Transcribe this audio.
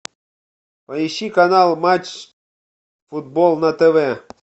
поищи канал матч футбол на тв